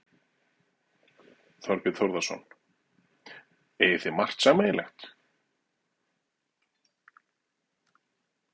Þorbjörn Þórðarson: Eigið þið margt sameiginlegt?